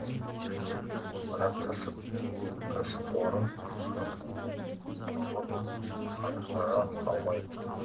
бірақ кәсіпорын өз міндетін толық атқара алмайды